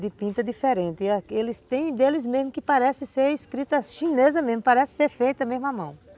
de pinta diferente, eles tem deles mesmo que parece ser escrita chinesa mesmo, parece ser feita mesmo a mão.